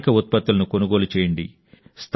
స్థానిక ఉత్పత్తులను కొనుగోలు చేయండి